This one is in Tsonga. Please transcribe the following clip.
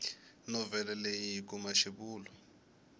novhele leyi hi kuma xivulwa